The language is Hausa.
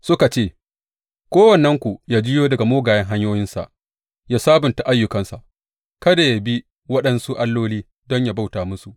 Suka ce, Kowannenku ya juyo daga mugayen hanyoyinsa ya sabunta ayyukansa; kada yă bi waɗansu alloli don yă bauta musu.